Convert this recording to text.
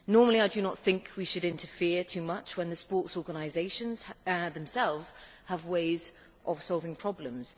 Normally, I do not think we should interfere too much when the sports organisations themselves have ways of solving problems.